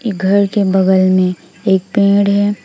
ये घर के बगल में एक पेड़ है।